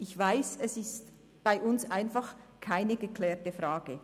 Ich weiss, es ist bei uns einfach keine geklärte Frage.